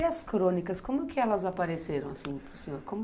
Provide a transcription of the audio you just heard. E as crônicas, como que elas apareceram assim para o senhor?